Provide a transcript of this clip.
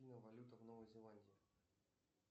валюта в новой зеландии